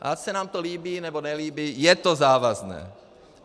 Ať se nám to líbí nebo nelíbí, je to závazné.